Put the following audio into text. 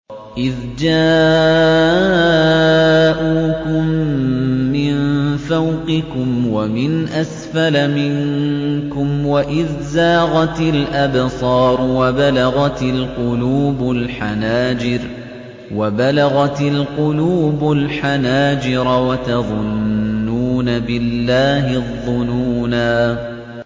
إِذْ جَاءُوكُم مِّن فَوْقِكُمْ وَمِنْ أَسْفَلَ مِنكُمْ وَإِذْ زَاغَتِ الْأَبْصَارُ وَبَلَغَتِ الْقُلُوبُ الْحَنَاجِرَ وَتَظُنُّونَ بِاللَّهِ الظُّنُونَا